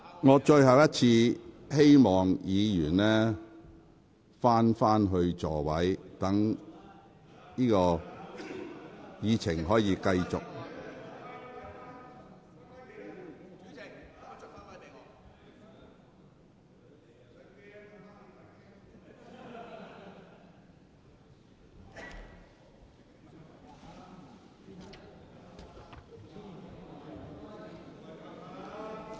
我最後一次請議員返回座位，讓本會繼續進行會議。